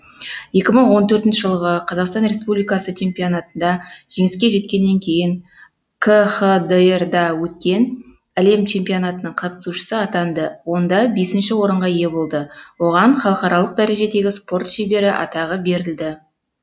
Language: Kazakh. екі мың он төртінші жылғы қазақстан республиксы чемпионатында жеңіске жеткеннен кейін кхдр да өткен әлем чемпионатының қатысушысы атанды онда бесінші орынға ие болды оған халықаралық дәрежедегі спорт шебері атағы берілді